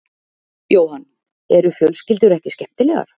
Jóhann: Eru fjölskyldur ekki skemmtilegar?